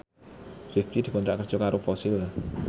Rifqi dikontrak kerja karo Fossil